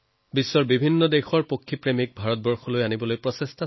বিশ্বৰ পক্ষী বিশেষজ্ঞসকলক ভাৰতৰ প্ৰতি আকৃষ্টও কৰিছে